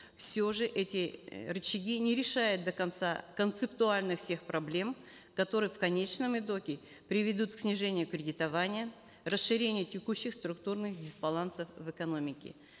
все же эти э рычаги не решают до конца концептуальных всех проблем которые в конечном итоге приведут к снижению кредитования расширению текущих структурных дисбалансов в экономике